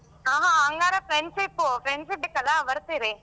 ಹ ಹ ಹಂಗಾರೆ friendship, friends ಇದಿಕಲ್ಲ ಬರ್ತೀರಿ.